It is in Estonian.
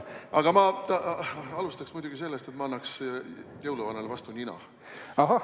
Aga ma alustaksin muidugi sellest, et ma annaksin jõuluvanale vastu nina.